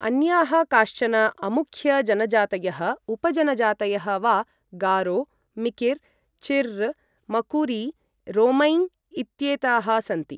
अन्याः काश्चन अमुख्य जनजातयः उपजनजातयः वा गारो, मिकिर्, चिर्र्, मकुरी, रोंमै इत्येताः सन्ति।